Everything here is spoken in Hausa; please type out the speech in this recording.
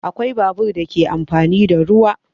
Akwai babur da ke amfani da ruwa